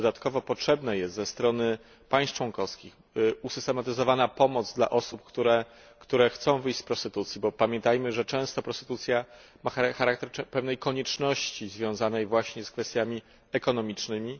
Dodatkowo potrzebna jest ze strony państw członkowskich usystematyzowana pomoc dla osób, które chcą wyjść z prostytucji, bo pamiętajmy, że często prostytucja ma charakter pewnej konieczności związanej właśnie z kwestiami ekonomicznymi.